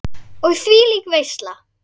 Og þvílík veisla!